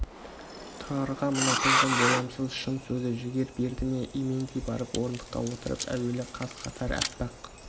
тұрарға мына қыздың боямасыз шын сөзі жігер берді ме именбей барып орындыққа отырып әуелі қаз-қатар аппақ